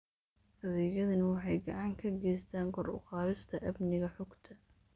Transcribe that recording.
Adeegyadani waxay gacan ka geystaan ??kor u qaadista amniga xogta.